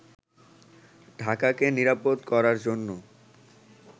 ঢাকাকে নিরাপদ করার জন্য